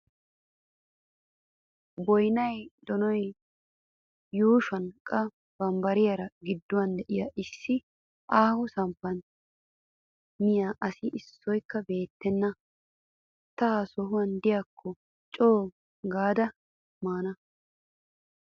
Boyinayi donoyi yuushuwan qa bambbaree gidduwan diyo issi aaho samppan miya asi issohikka beettenna. Ta ha sohan diyaakko co"u gaada maana.